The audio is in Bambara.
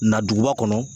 Na duguba kɔnɔ